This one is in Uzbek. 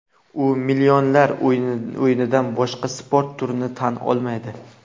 U millionlar o‘yinidan boshqa sport turini tan olmaydi.